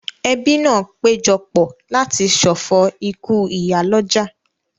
Ẹbí náà péjọ pọ̀ láti ṣọ̀fọ̀ ikú ìyálọ́jà